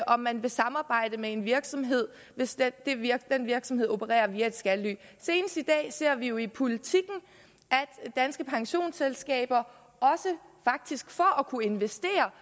om man vil samarbejde med en virksomhed hvis den virksomhed opererer via et skattely senest i dag ser vi jo i politiken at danske pensionsselskaber også faktisk for at kunne investere